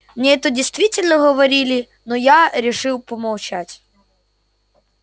мне это действительно говорили но я решил помолчать